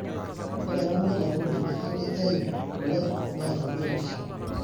Ore eramatare o nkineji keitayu kule natabiotisho.